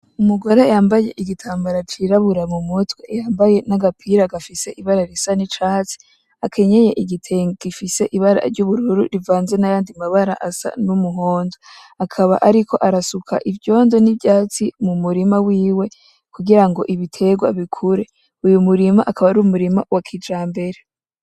Umugore yambaye igitambara cirabura mu mutwe, yambaye n'agapira gafise ibara risa n'icatsi, akenyeye igitenge gifise ibara ry'ubururu rivanze n'ayandi mabara asa n'umuhondo, akaba ariko arasuka ivyondo, n'ivyatsi mu murima wiwe kugira ngo ibitegwa bikure, uyu murima akaba ari umurima wa kijambere.